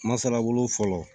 Masalabolo fɔlɔ